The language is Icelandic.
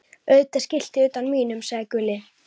Auðvitað skiltið utan á mínum, sagði Gulli.